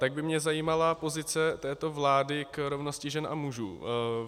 Tak by mě zajímala pozice této vlády k rovnosti žen a mužů.